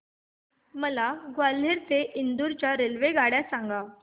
मला ग्वाल्हेर ते इंदूर च्या रेल्वेगाड्या सांगा